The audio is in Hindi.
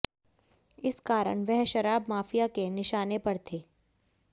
इस कारण वह शराब माफिया के निशाने पर थे